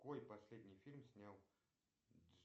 какой последний фильм снял